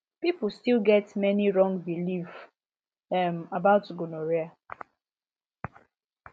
people still get many wrong belief um about gonorrhea